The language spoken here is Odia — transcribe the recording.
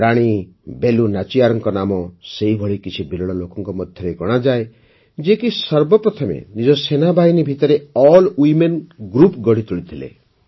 ରାଣୀ ବେଲୁ ନାଚିୟାରଙ୍କ ନାମ ସେହିଭଳି କିଛି ବିରଳ ଲୋକଙ୍କ ମଧ୍ୟରେ ଗଣାଯାଏ ଯେ କି ସର୍ବପ୍ରଥମ ନିଜ ସେନାବାହିନୀ ଭିତରେ ଇକ୍ଷକ୍ଷ ଡକ୍ଟଜ୍ଞରଦ୍ଭ ଏକ୍ସକ୍ଟଙ୍କକ୍ଟ୍ର ଗଢ଼ିତୋଳିଥିଲେ